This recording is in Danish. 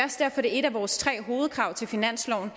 er et af vores tre hovedkrav til finansloven